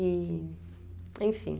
E... Enfim.